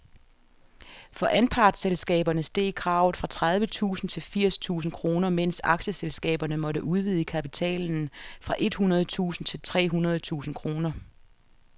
For anpartsselskaberne steg kravet fra tredive tusind til firs tusind kroner, mens aktieselskaberne måtte udvide kapitalen fra et hundrede tusind til tre hundrede tusind kroner.